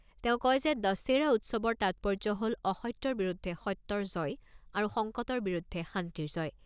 তেওঁ কয় যে, দশেৰা উৎসৱৰ তাৎপৰ্য হ'ল অসত্যৰ বিৰুদ্ধে সত্যৰ জয় আৰু সংকটৰ বিৰুদ্ধে শান্তিৰ জয়।